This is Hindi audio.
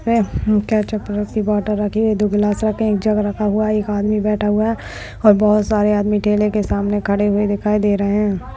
की बोतल दो गिलास एक जग एक आदमी बेठा हुआ है और बहुत सारे आदमी ठेले की सामने खड़े हुए दिखाए दे रहे है।